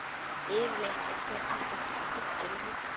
Yfirleitt er hér alltaf fullt af fólki um helgar.